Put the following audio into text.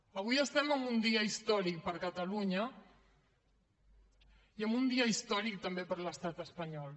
avui estem en un dia històric per a catalunya i en un dia històric també per a l’estat espanyol